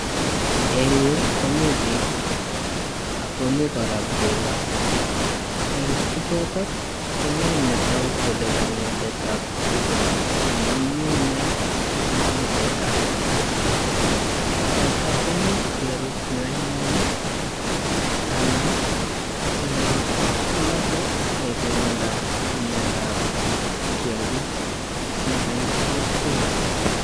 Eng' yuu komii biik ak komii kora tukaa, eng' bichuton komii netoku Kole konyoindetab tukaa amun mii inee korute teta, teta komuch kerut Yoon mioni anan ko yoon kimoche kekirinda miondab kiakik nekait kokwek.